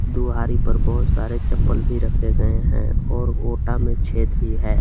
द्वारे पर बहोत सारे चप्पल भी रखे गए हैं और ओटा में छेद भी है।